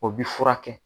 O bi furakɛ